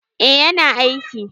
Eh yana aiki.